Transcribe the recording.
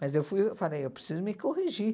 Mas eu fui falei, eu preciso me corrigir.